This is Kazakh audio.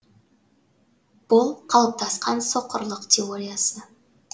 бұл қалыптасқан соқырлық теориясы